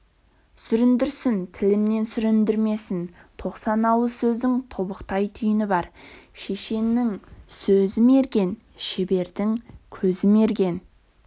сүріндірсін тілімнен сүріндімесін тоқсан ауыз сөздің тобықтай түйіні бар шешеннің сөзі мерген шебердің көзі мерген